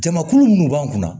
Jamakulu munnu b'an kunna